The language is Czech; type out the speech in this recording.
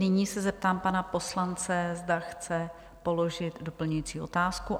Nyní se zeptám pana poslance, zda chce položit doplňující otázku?